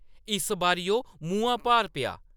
इस बारी ओह्‌‌ मुहां भार पेआ ।